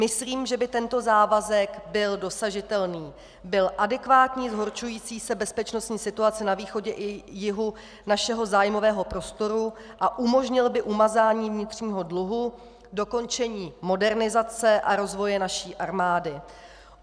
Myslím, že by tento závazek byl dosažitelný, byl adekvátní zhoršující se bezpečnostní situaci na východě i jihu našeho zájmového prostoru a umožnil by umazání vnitřního dluhu, dokončení modernizace a rozvoje naší armády.